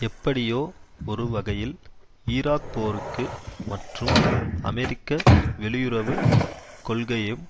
எப்படியோ ஒரு வகையில் ஈராக்போருக்கு மற்றும் அமெரிக்க வெளியுறவு கொள்கையும்